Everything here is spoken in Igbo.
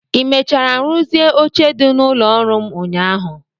Ị mechara rụzie oche dị n'ụlọ ọrụ m ụnyaahụ?